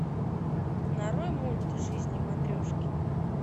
нарой мульт жизни матрешки